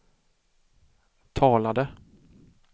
talade